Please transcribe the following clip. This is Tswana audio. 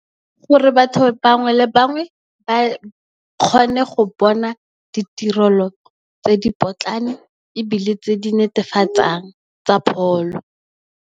Gore batho bangwe le bangwe ba kgone go bona ditirelo tse di potlana ebile, tse di netefatsang tsa pholo.